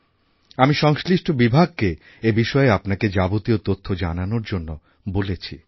আমি সংশ্লিষ্ট বিভাগকে এই বিষয়ে আপনাকে যাবতীয় তথ্য জানানোর জন্য বলেছি